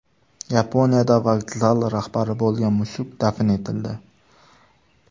Yaponiyada vokzal rahbari bo‘lgan mushuk dafn etildi.